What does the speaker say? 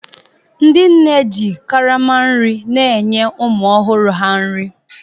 Ndị nne ji karama nri na-enye ụmụ ọhụrụ ha nri